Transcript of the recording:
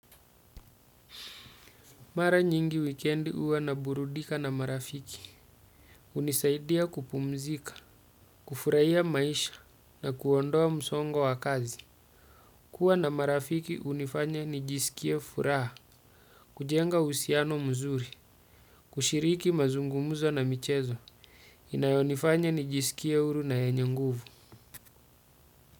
Mara nyingi wikendi huwa naburudika na marafiki hunisaidia kupumzika kufurahia maisha na kuondoa msongo wa kazi. Kua na marafiki hunifanya nijisikie furaha, kujenga uhusiano mzuri, kushiriki mazungumzo na michezo, inayonifanya nijisikie huru na yenye nguvu.